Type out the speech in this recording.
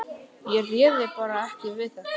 Ég réði bara ekki við þetta.